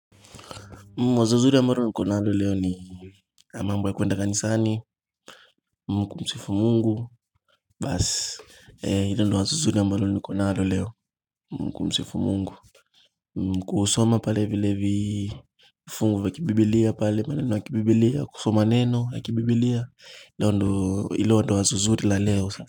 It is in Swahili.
Mwazo zuri ambalo niko nalo leo ni na mambo ya kuenda kanisani mku msifu mungu basi ilo ndo wazo zuri ambalo niko nalo leo mkumsifu Mungu kusoma pale vile vifungu vya kibibiliya pale maneno ya kibibiliya kusoma neno ya kibibiliya ilo ndo wazo zuri la leo.